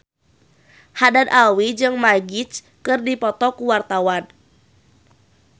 Haddad Alwi jeung Magic keur dipoto ku wartawan